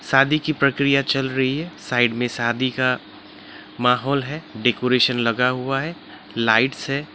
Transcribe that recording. शादी की प्रक्रिया चल रही है साइड में शादी का माहौल है डेकोरेशन लगा हुआ है लाइट्स है।